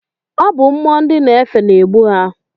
Ọ bụ mmụọ nd na-efe na-egbu ha.